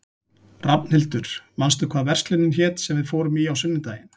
Rafnhildur, manstu hvað verslunin hét sem við fórum í á sunnudaginn?